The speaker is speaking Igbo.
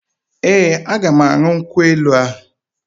Ee, aga m aṅụ nkwụ elu ahụ